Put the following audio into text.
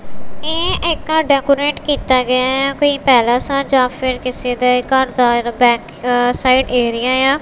ਇਹ ਇੱਕ ਡੇਕੋਰੇਟ ਕੀਤਾ ਗਿਆ ਇਆ ਕੋਈ ਪੈਲੇਸ ਆ ਜਾਂ ਫਿਰ ਕਿਸੇ ਦੇ ਘਰ ਦਾ ਬੈਕਸਾਈਡ ਏਰੀਆ ਏ ਆ।